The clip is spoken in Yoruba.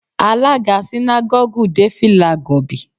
Alága sínágọ́gù dé fìlà gọ̀bì